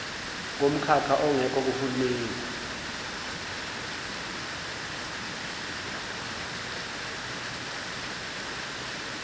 komkhakha ongekho kuhulumei